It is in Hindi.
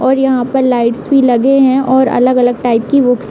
और यहाँ पर लाइट्स भी लगे हैं और अलग-अलग टाइप की बुक्स --